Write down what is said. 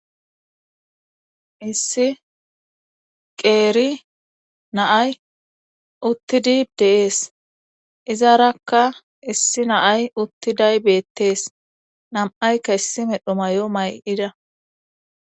issi qeeri naay uttidi deees izarakka issi naay uttiday beettees nam7aykka issi medho may7o may7ida